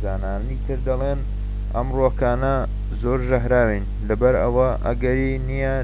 زانایانی تر دەڵێن ئەم ڕووەکانە زۆر ژەهراوین لەبەر ئەوە ئەگەری نیە